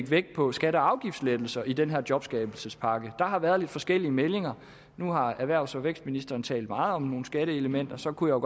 vægt på skatte og afgiftslettelser i den her jobskabelsespakke der har været lidt forskellige meldinger nu har erhvervs og vækstministeren talt meget om nogle skatteelementer og så kunne